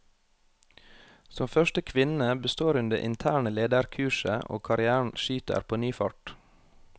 Som første kvinne består hun det interne lederkurset, og karrièren skyter på ny fart.